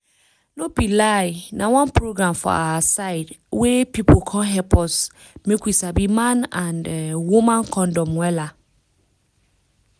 no be lie na one program for awa side wey pipu come help us make me sabi man and[um]woman condom wella